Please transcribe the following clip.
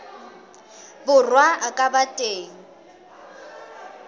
borwa a ka ba teng